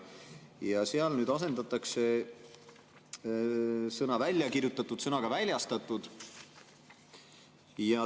Seal asendatakse sõna "väljakirjutatud" sõnaga "väljastatud".